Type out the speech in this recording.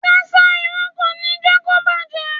Ṣíṣá irú kò ní jẹ́ kó bàjẹ́.